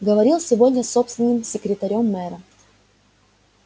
говорил сегодня с собственным секрётарем мэра